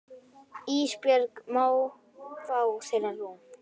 Ísbjörg má fá þeirra rúm.